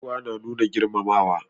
Gaisuwa na nuna girmamawa.